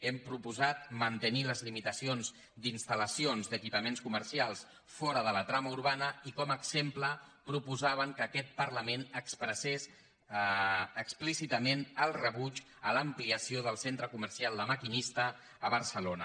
hem proposat mantenir les limitacions d’installacions d’equipaments comercials fora de la trama urbana i com a exemple proposàvem que aquest parlament expressés explícitament el rebuig a l’ampliació del centre comercial la maquinista a barcelona